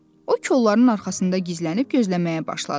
O kolları arxasında gizlənib gözləməyə başladı.